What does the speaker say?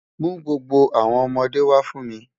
Mú gbogbo awọn ọmọde wa fún mi.